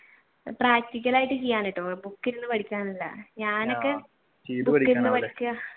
practical ആയിട്ട് ഞാനൊക്കെ